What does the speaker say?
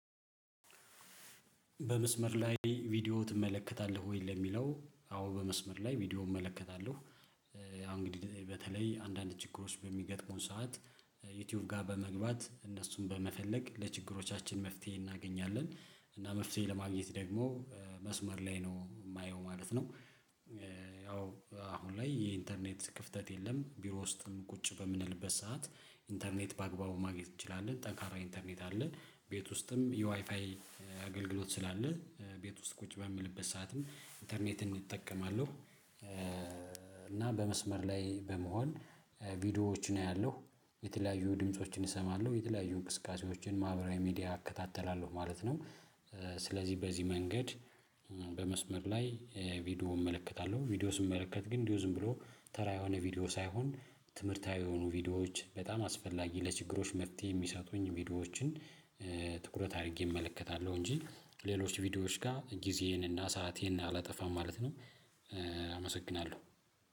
በመስመር ላይ ቪዲዮ ትመለከታለህ ወይ ለሚለው? አዎ በመስመር ላይ ቪዲዮ እመለከታለሁ። አሁን እንግዲህ በተለይ አንዳንድ ችግሮች በሚገጥሙን ሰዓት። ዩቲዩብ ጋር በመግባት እነሱን በመፈለግ ለችግሮቻችን መፍትሄ እናገኛለን እና መፍትሄ ለማግኘት ደግሞ መስመር ላይ ነው የማየው ማለት ነው። ያው አሁን ላይ የኢንተርኔት ክፍተት የለም ቢሮ ውስጥም ቁጭ በምንልበት ሰዓት። ኢንተርኔት በአግባቡ ማግኘት እንችላለን ጠንካራ ኢንተርኔት አለ ቤት ውስጥም የዋይፋይ አገልግሎት ስላለ ቤት ውስጥ ቁጭ በምልበት ሰዓትም ኢንተርኔትን እጠቀማለሁ። እና በመስመር ላይ በመሆን ቪዲዮዎችን አያለሁ የተለያዩ ድምፆችን እሰማለሁ የተለያዩ እንቅስቃሴዎችን ማህበራዊ ሚዲያ አከታተላለሁ ማለት ነው። ስለዚህ በዚህ መንገድ በመስመር ላይ ቪዲዮ እመለከታለሁ። ቪዲዮ ስመለከት ግን እንዲሁ ዝም ብሎ ተራ የሆነ ቪዲዮ ሳይሆን ትምህርታዊ የሆኑ ቪዲዮዎች በጣም አስፈላጊ ለችግሮች መፍትሄ የሚሰጡኝ ቪዲዮዎችን። ትኩረት አድርጌ እመለከታለሁ እንጂ ሌሎች ቪዲዮዎች ጋር ጊዜዬን እና ሰአቴን አላጠፋም ማለት ነው። አመሰግናለሁ